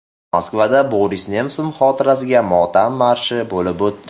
Moskvada Boris Nemsov xotirasiga motam marshi bo‘lib o‘tdi.